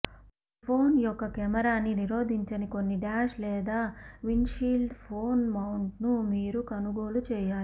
మీ phone యొక్క కెమెరాని నిరోధించని కొన్ని డాష్ లేదా విండ్షీల్డ్ ఫోన్ మౌంట్ను మీరు కొనుగోలు చేయాలి